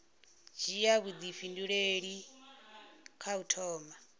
dzhia vhuifhinduleli kha u thoma